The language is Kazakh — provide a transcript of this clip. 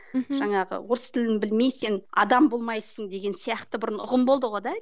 мхм жаңағы орыс тілін білмей сен адам болмайсың деген сияқты бұрын ұғым болды ғой да